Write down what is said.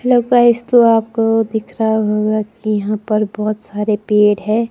Hello guys तो आपको दिख रहा होगा कि यहां पर बहुत सारे पेड़ है।